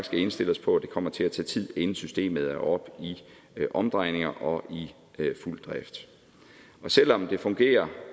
skal indstille os på at det kommer til at tage tid inden systemet er oppe i omdrejninger og i fuld drift selv om det fungerer